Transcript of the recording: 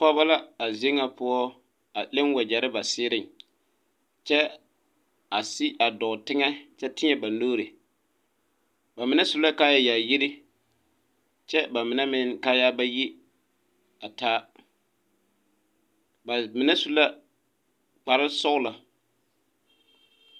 Pɔge la a zie ŋa poɔ a leŋ wagyɛre ba zeereŋ kyɛ a sigi a dɔɔ teŋɛ kyɛ tēɛ ba nuuri ba mine su la kaaya yaayiri kyɛ ba mine meŋ kaaya ba yi a taa ba mine su la kpare sɔglo.